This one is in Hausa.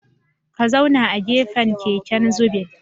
Ka zauna a gefen keken zubin